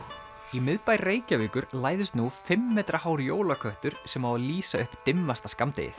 í miðbæ Reykjavíkur læðist nú fimm metra hár jólaköttur sem á að lýsa upp dimmasta skammdegið